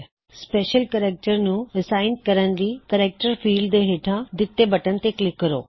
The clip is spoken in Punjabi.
ਸਪੈੱਸ਼ਲ ਕੇਰੈਕ੍ਟਰ ਨੂੰ ਅਸਾਇਨ ਕਰਣ ਲਈ ਕੇਰੈਕ੍ਟਰ ਫੀਲਡ ਦੇ ਹੇਠਾਂ ਦਿੱਤੇ ਬਟਨ ਤੇ ਕਲਿੱਕ ਕਰੋ